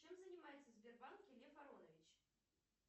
чем занимается в сбербанке лев аронович